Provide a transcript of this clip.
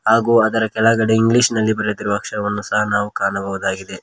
ಹಾಗು ಅದರ ಕೆಳಗಡೆ ಇಂಗ್ಲಿಷ್ ನಲ್ಲಿ ಬರೆದಿರುವ ಅಕ್ಷರಗಳನ್ನು ಸಹ ನಾವು ಕಾಣಬಹುದಾಗಿದೆ.